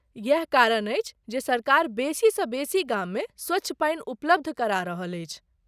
इएह कारण अछि जे सरकार बेसीसँ बेसी गाममे स्वच्छ पानि उपलब्ध करा रहल अछि।